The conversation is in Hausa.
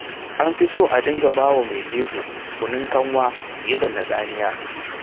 An fi so a dinga bawa mai jego kunun kanwa fiye da na tsamiya.